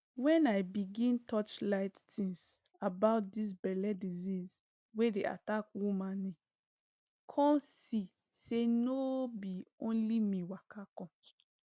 when i begin torchlight tins about dis belle disease wey dey attack womani come see say no bi only me waka come